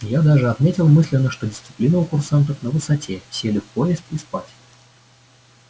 я даже отметил мысленно что дисциплина у курсантов на высоте сели в поезд и спать